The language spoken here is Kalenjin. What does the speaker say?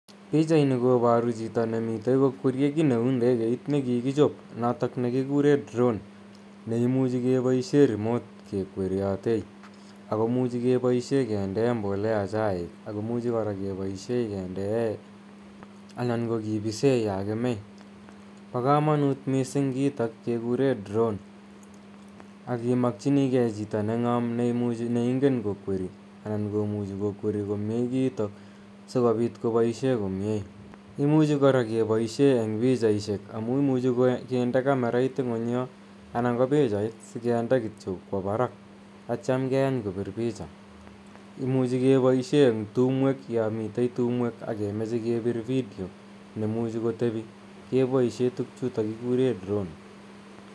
Pichaini koparu chito nemi kokwerie kiit ne u ndegeit ne kikichop notok ne kikure drone ne imuchi kepaishe remote kekweriatei. Ako muchi kepaishe kindee mbolea chaiik ako muchi kora kepaishe kendee anan ko kipise ya kemei. Pa kamanut missing' kiitok kekure drone akimakchinigei chito neng'am ne ingen kokweri ako muchi kokweri komye kiitok si kopit kopaishe komye. Imuchi kora kepaishe eng' pichaishek amu imuchi kinde kamerait ng'uny yo anan ko pichait si kinde kityo kowa parak atiam keyany kopir picha. Imuchi kepaishe eng' tumweek, ya mitei tumwek ake mache kepir video ne muchi kotepi kepaishe tugchutok kikure drone.